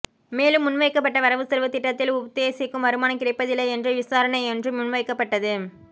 மேலும் முன்வைக்கப்பட்ட வரவுசெலவுத்திட்டத்தில் உத்தேசிக்கும் வருமானம் கிடைப்பதில்லை என்ற விசாரணையொன்றும் முன்வைக்கப்பட்டது